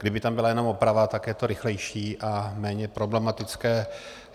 Kdyby tam byla jenom oprava, tak je to rychlejší a méně problematické.